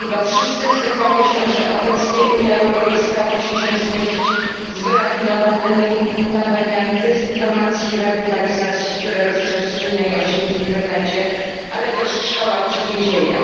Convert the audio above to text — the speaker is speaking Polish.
Chyba wszyscy zgadzamy się, że obecnie Unia Europejska musi się zmierzyć z wyrafinowanymi kampaniami dezinformacji, radykalizacji, które rozprzestrzeniają się w internecie, ale też w szkołach czy więzieniach.